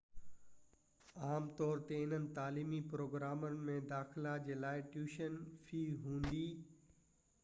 عام طور تي انهن تعليمي پروگرامن ۾ داخلا جي لاءِ ٽيوشن في هوندي